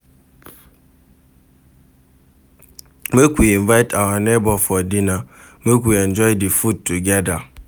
Make we invite our nebor for dinner, make we enjoy di food togeda.